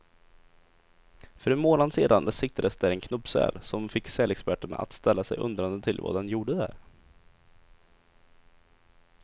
För en månad sedan siktades där en knubbsäl, som fick sälexperterna att ställa sig undrande till vad den gjorde där.